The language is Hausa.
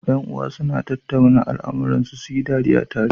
Yan uwa suna tattauna al amuran su, suyi dariya tare